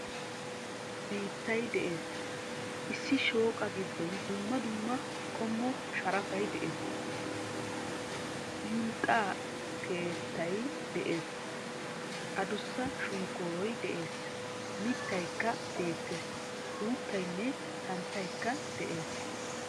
Biittay de'ees, issi shooqaa giddon dumma dumma qommo sharafay de'ees. Hinxxa keettay de'ees. Addussa shonkkooroy de'ees, mitaykka beettees. Uuttaynne santtaykka de'ees.